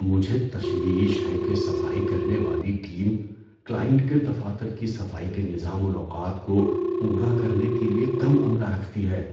مجھے تشویش ہے کہ صفائی کرنے والی ٹیم کلائنٹ کے دفاتر کی صفائی کے نظام الاوقات کو پورا کرنے کے لیے کم عملہ رکھتی ہے۔